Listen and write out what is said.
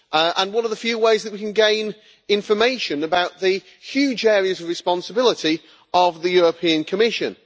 and one of the few ways that we can gain information about the huge areas of responsibility of the European Commission.